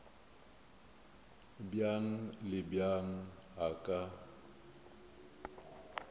bjang le bjang a ka